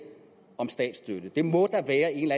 om statsstøtte der må være en